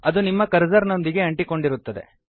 ಅದು ನಿಮ್ಮ ಕರ್ಸರ್ ನೊಂದಿಗೆ ಅಂಟಿಕೊಂಡಿರುತ್ತದೆ